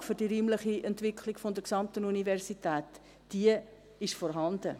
Die Grundlage für die räumliche Entwicklung der gesamten Universität ist vorhanden.